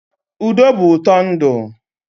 Udo bụ ụtọ ndụ.